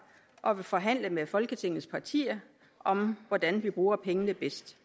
og vil forhandle med folketingets partier om hvordan vi bruger pengene bedst